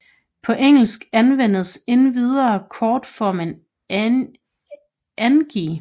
På engelsk anvendes endvidere kortformen Angie